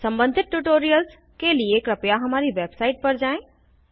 सम्बंधित ट्यूटोरियल्स के लिए कृपया हमारी वेबसाइट पर जाएँ